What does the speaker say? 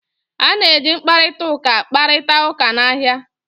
A na-eji mkparịta ụka kparịta ụka n'ahịa